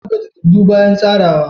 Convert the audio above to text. Ana buga takardu bayan tsarawa.